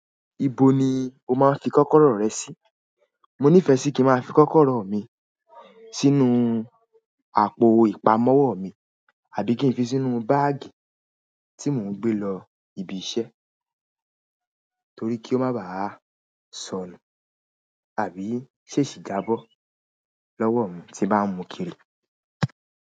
Ibo ni o máa ń fi kọ́kọ́rọ́ rẹ sí? Mo nífẹ̀ẹ́ kí ń máa fi kọ́kọ́rọ́ mi sínú àpò ìpamọ́wọ́ mi àbí kí ń fi sínú báàgì tí mò ń gbé lọ ibi iṣẹ́ torí kí ó má bàa sọnù àbí ṣèṣì jábọ́ lọ́wọ́ mi tí bá ń mú kiri.